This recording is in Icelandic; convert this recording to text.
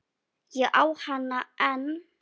Ég á hana enn.